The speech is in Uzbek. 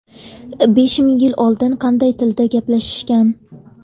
Besh ming yil oldin qanday tilda gaplashishgan?